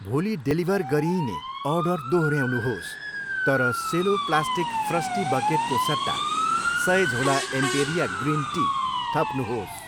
भोलि डेलिभर गरिइने अर्डर दोहोऱ्याउनुहोस् तर सेलो प्लास्टिक फ्रस्टी बकेटको सट्टा सय झोला एम्पेरिया ग्रिन टी थप्नुहोस्।